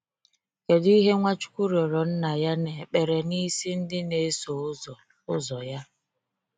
Kedụ ihe Nwachukwu rịọrọ Nna ya n"ekpere n"isi ndị n"eso ụzọ ụzọ ya?